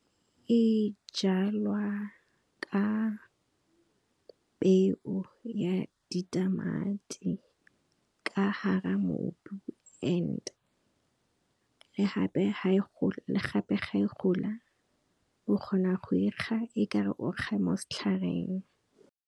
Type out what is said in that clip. E jalwa ka peo ya ditamati, ka hara mobu and le gape ga e gola, o kgona go e kga e ka re o kga mo setlhareng.